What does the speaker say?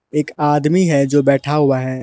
एक आदमी है जो बैठा हुआ है।